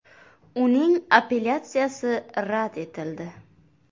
Uning apellyatsiyasi rad etildi.